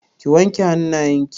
Ki wanke hannayen ki!